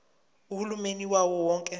uhulumeni wawo wonke